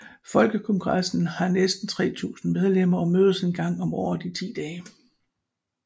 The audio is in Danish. Folkekongressen har næsten 3000 medlemmer og mødes en gang om året i ti dage